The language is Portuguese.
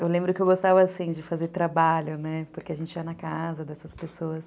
Eu lembro que eu gostava assim, de fazer trabalho, né, porque a gente ia na casa dessas pessoas.